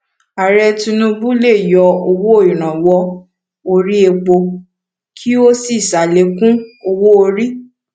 ààrẹ tinubu le yọ owó iranwọ orí èpo kí o sí salekun owóorí